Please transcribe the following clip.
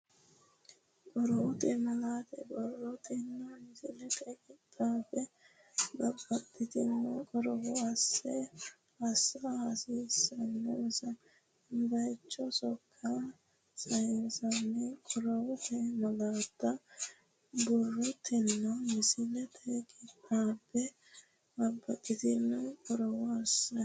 Qorowote malaatta borrotenna misiletenni qixxaabbe babbaxxitino qorowo assa hasiissannonsa bayicho sokka sayissanno Qorowote malaatta borrotenna misiletenni qixxaabbe babbaxxitino qorowo assa.